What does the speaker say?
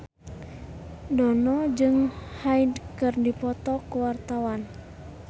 Dono jeung Hyde keur dipoto ku wartawan